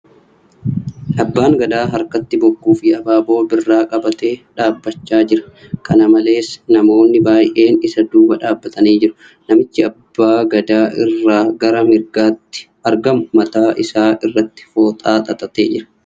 Abbaan gadaa harkatti bokkuu fi abaaboo birraa qabatee dhaabbachaa jira. Kan malees , namoonni baay'een isa duuba dhaabbatanii jiru. Namichi abbaa gadaa irraaa gara harka mirgaatti argamu mataa isaa irratti fooxaa xaxatee jira.